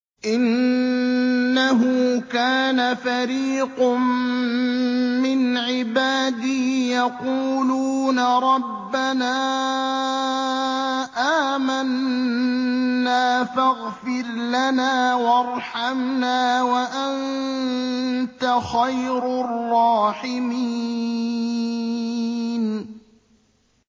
إِنَّهُ كَانَ فَرِيقٌ مِّنْ عِبَادِي يَقُولُونَ رَبَّنَا آمَنَّا فَاغْفِرْ لَنَا وَارْحَمْنَا وَأَنتَ خَيْرُ الرَّاحِمِينَ